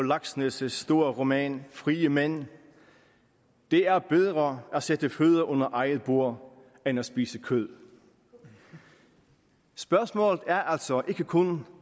laxness store roman frie mænd det er bedre at sætte fødder under eget bord end at spise kød spørgsmålet er altså ikke kun